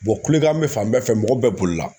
kulikan bɛ fan bɛɛ fɛ mɔgɔ bɛɛ bolola.